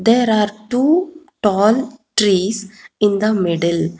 There are two tall trees in the middle.